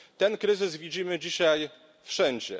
Ten kryzys widzimy dzisiaj wszędzie.